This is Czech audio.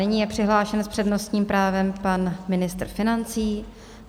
Nyní je přihlášen s přednostním právem pan ministr financí.